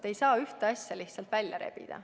Te ei saa ühte asja lihtsalt välja rebida.